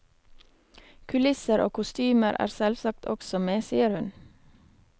Kulisser og kostymer er selvsagt også med, sier hun.